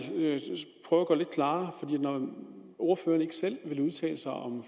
prøve at lidt klarere for når ordføreren ikke selv vil udtale sig om